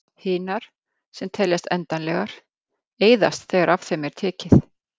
Hinar, sem teljast endanlegar, eyðast þegar af þeim er tekið.